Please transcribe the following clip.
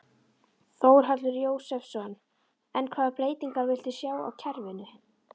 Þórhallur Jósefsson: En hvaða breytingar viltu sjá á kerfinu?